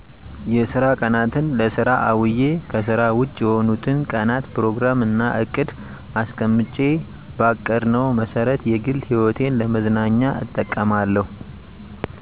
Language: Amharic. የስራ ቀናትን ለስራ አዉየ ከስራ ዉጭ የሆኑትን ቀናት ፕሮግራም እና እቅድ አስቀምጬ ባቀድነው መሰረት የግል ህይወቴን ለመዝናኛ እጠቀማለሁ